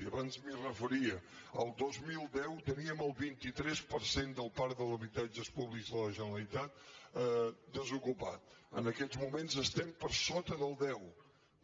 i abans m’hi referia el dos mil deu teníem el vint tres per cent del parc dels habitatges pú·blics de la generalitat desocupat en aquests moments estem per sota del deu